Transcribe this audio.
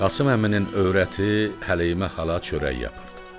Qasım əminin övrəti Həleyimə xala çörək yapırdı.